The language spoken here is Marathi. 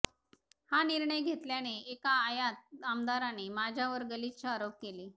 हा निर्णय घेतल्याने एका आयात आमदाराने माझ्यावर गलिच्छ आरोप केले